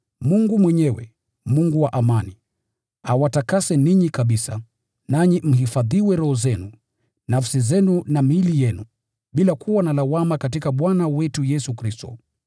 Mungu mwenyewe, Mungu wa amani, awatakase ninyi kabisa. Nanyi mhifadhiwe roho zenu, nafsi zenu na miili yenu, bila kuwa na lawama katika Bwana wetu Yesu Kristo.